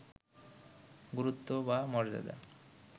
গুরুত্ব বা মর্যাদা